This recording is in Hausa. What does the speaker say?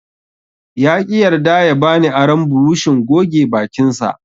Yaƙi yarda ya bani aron burushin goge bakinsa.